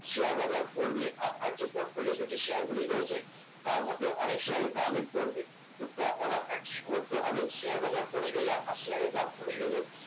share বাজার পড়বে আপনার যে portfolio তে শেয়ারগুলি রয়েছে তার মধ্যে অনেক শেয়ারের দামই পড়বে তখন আপনার কি করতে হবে শেয়ার বাজার পড়ে গেলে আপনার শেয়ারের দাম পড়ে গেলে